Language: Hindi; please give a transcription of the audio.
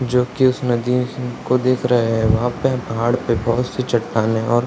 जो कि उस नदी को देख रहे है वहां पे पहाड़ पे बहुत से चट्टानें और --